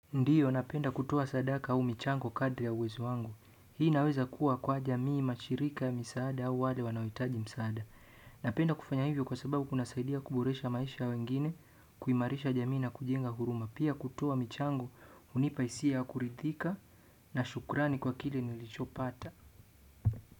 Ndiyo napenda kutoa sadaka au michango kadri ya uwezo wangu hii inaweza kuwa kwa jamii mashirika ya misaada au wale wanahitaji misaada napenda kufanya hivyo kwa sababu kunasaidia kuboresha maisha ya wengine, kuimarisha jamii na kujenga huruma. Pia kutoa michango hunipa hisia ya kuridhika na shukrani kwa kile nilichopata.